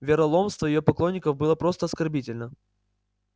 вероломство её поклонников было просто оскорбительно